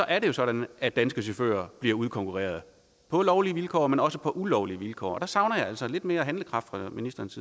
er det jo sådan at danske chauffører bliver udkonkurreret på lovlige vilkår men også på ulovlige vilkår og der savner jeg altså lidt mere handlekraft fra ministerens